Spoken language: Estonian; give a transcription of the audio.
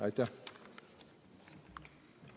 Aitäh!